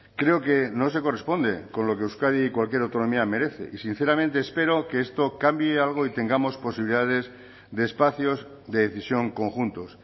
creo que no se corresponde con lo que euskadi y cualquier autonomía merece y sinceramente espero que esto cambie algo y tengamos posibilidades de espacios de decisión conjuntos